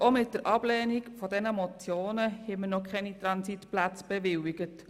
Aber auch mit der Ablehnung dieser Motionen haben wir noch keine Transitplätze bewilligt.